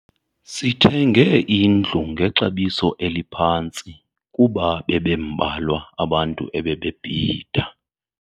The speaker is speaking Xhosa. Sithenge indlu ngexabiso eliphantsi kuba bebembalwa abantu ebebebhida.